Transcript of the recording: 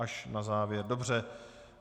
Až na závěr, dobře.